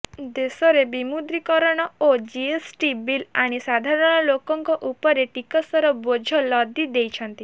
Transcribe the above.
ଦେଶରେ ବିମୁଦ୍ରୀକରଣ ଓ ଜିଏସ୍ ଟି ବିଲ୍ ଆଣି ସାଧାରଣ ଲୋକଙ୍କ ଉପରେ ଟିସକର ବୋଝ ଲଦି ଦେଇଛନ୍ତି